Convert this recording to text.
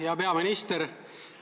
Hea peaminister!